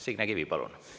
Signe Kivi, palun!